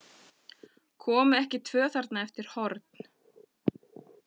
Komu ekki tvö þarna eftir horn?